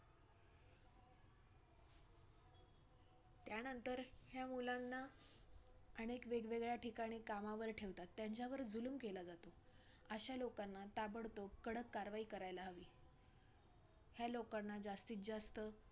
त्यानंतर ह्या मुलांना अनेक वेगवेगळ्या ठिकाणी कामांवर ठेवतात, त्यांच्यावर जुलूम केला जातो, अश्या लोकांना ताबडतोब कडक कारवाई करायला हवी ह्या लोकांना जास्तीतजास्त,